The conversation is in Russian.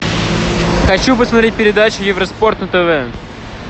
хочу посмотреть передачу евроспорт на тв